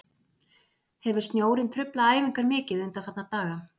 Hefur snjórinn truflað æfingar mikið undanfarna daga?